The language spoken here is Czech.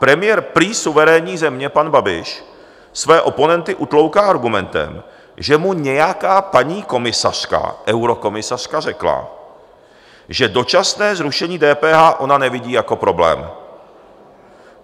Premiér prý suverénní země pan Babiš své oponenty utlouká argumentem, že mu nějaká paní komisařka, eurokomisařka, řekla, že dočasné zrušení DPH ona nevidí jako problém.